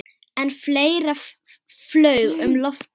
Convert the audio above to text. En fleira flaug um loftið.